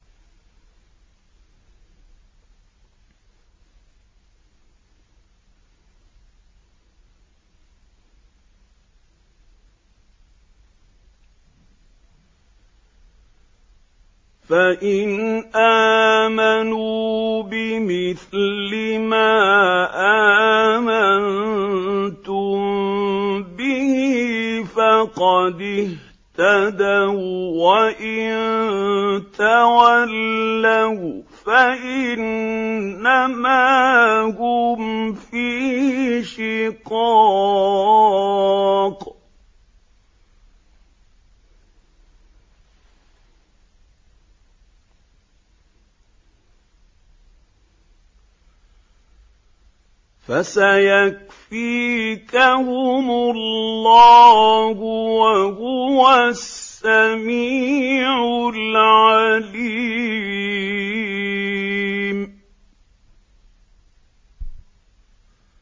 فَإِنْ آمَنُوا بِمِثْلِ مَا آمَنتُم بِهِ فَقَدِ اهْتَدَوا ۖ وَّإِن تَوَلَّوْا فَإِنَّمَا هُمْ فِي شِقَاقٍ ۖ فَسَيَكْفِيكَهُمُ اللَّهُ ۚ وَهُوَ السَّمِيعُ الْعَلِيمُ